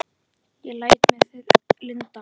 Ég læt mér það lynda.